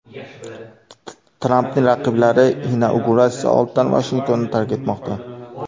Trampning raqiblari inauguratsiya oldidan Vashingtonni tark etmoqda.